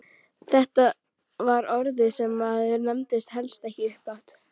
Þetta var orð sem maður nefndi helst ekki upphátt!